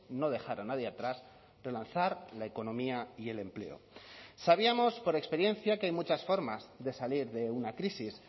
no dejar a nadie atrás relanzar la economía y el empleo sabíamos por experiencia que hay muchas formas de salir de una crisis